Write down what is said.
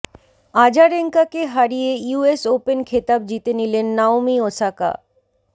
আজারেঙ্কাকে হারিয়ে US Open খেতাব জিতে নিলেন নাওমি ওসাকা